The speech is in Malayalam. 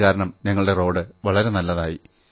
അതുകാരണം ഞങ്ങളുടെ റോഡ് വളരെ നല്ലതായി